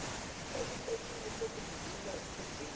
esiteshini sokuvivinya esiseduze